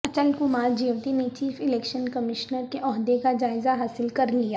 اچل کمار جیوتی نے chief election commissioner کے عہدہ کا جائزہ حاصل کرلیا